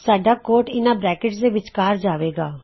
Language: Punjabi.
ਸਾਡਾ ਕੋਡ ਇਹਨਾ ਬ੍ਰੈਕਿਟਸ ਦੇ ਵਿੱਚਕਾਰ ਜਾਵੇਗਾ